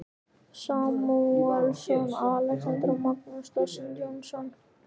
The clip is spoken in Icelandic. Samúelsson, Alexander og Magnús dósent Jónsson.